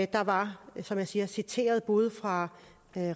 der var som jeg siger citater både fra